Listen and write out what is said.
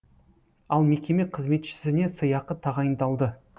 ал мекеме қызметшісіне сыйақы тағайындалды